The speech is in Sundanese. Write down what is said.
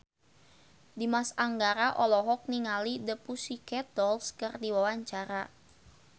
Dimas Anggara olohok ningali The Pussycat Dolls keur diwawancara